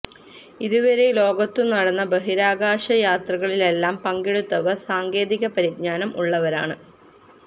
ഇതുവരെ ലോകത്തു നടന്ന ബഹിരാകാശ യാത്രകളിലെല്ലാം പങ്കെടുത്തവര് സാങ്കേതിക പരിജ്ഞാനം ഉള്ളവരാണ്